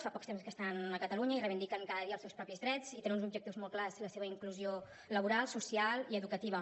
fa poc temps que estan a catalunya i reivindiquen cada dia els seus propis drets i tenen uns objectius molt clars la seva inclusió laboral social i educativa